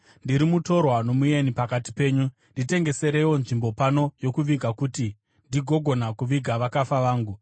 “Ndiri mutorwa nomueni pakati penyu. Nditengesereiwo nzvimbo pano yokuviga kuti ndigogona kuviga vakafa vangu.”